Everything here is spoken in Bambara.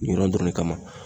Ni yɔrɔ dɔrɔn de kama.